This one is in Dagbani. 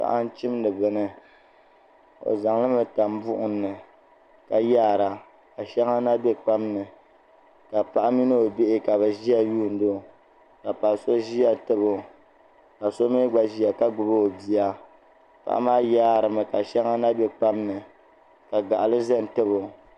Paɣa n chimdi bini o zaŋlimi tam buɣum ni ka yaara ka shɛŋa na bɛkpam ni ka paɣa mini o bihi ka bi ʒɛya lihiro ka paɣa so ƶiya tabo ka so mii gba ʒiya ka gbuni o bia paɣa maa yaarimi ka shɛŋa na bɛ kpam ni ka gaɣali ʒi n tabo